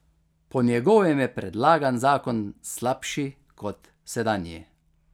Po njegovem je predlagan zakon slabši kot sedanji.